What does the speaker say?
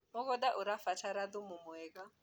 mũgũnda ũrabatara thumu mwega